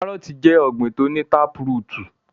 Kárọọ̀tì jẹ ọ̀gbin tó ní táprútù.